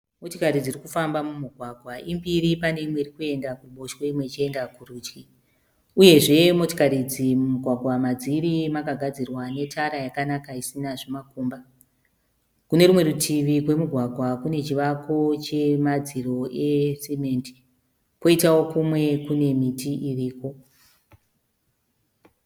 Motokari dzirikufamba mumugwaga imbiri pane imwe irikuenda kuruboshwe imwe irikuenda kurudyi uyezve motokari idzi mugwagwa madziri makagadzirwa netara yakanaka isina makomba. Kune rimwe rutivi rwomugwagwa kune chivako chemadziro esimende kwoitao rimwe rutivi kune miti iriko